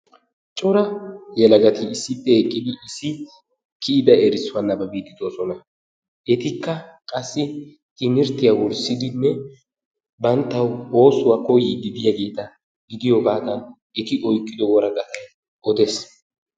Cora yelagatti issippe eqqidi issi kiyida erissuwaa nababiidi de"oosona. Etikka qassi timirttiyaa wurssidinne banttawu oosuwaa kooyidi de'iyaageta gidiyoogadan eti oyqqido woraqatay odees.